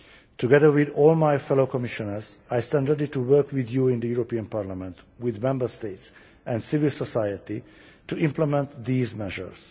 Together with all my fellow Commissioners, I stand ready to work with you in the European Parliament, with Member States and civil society to implement these measures.